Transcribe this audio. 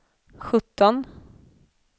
sjutton